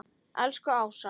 Elsku Ása.